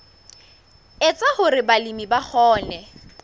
etsa hore balemi ba kgone